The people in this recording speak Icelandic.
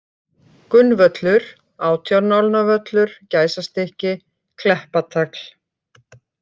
Gunnvöllur, Átjánálnavöllur, Gæsastykki, Kleppatagl